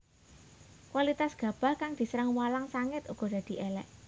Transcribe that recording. Kualitas gabah kang diserang walang sangit uga dadi élék